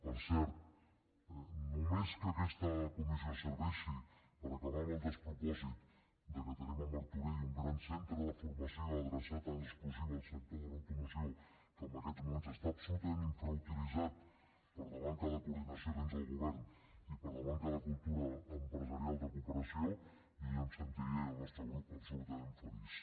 per cert només que aquesta comissió serveixi per acabar amb el despropòsit de que tenim a martorell un gran centre de formació adreçat en exclusiva al sector de l’automoció que en aquests moments està tan infrautilitzat per la manca de coordinació dins el govern i per la manca de cultura empresarial de cooperació jo ja em sentiria i el nostre grup absolutament feliç